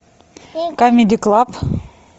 камеди клаб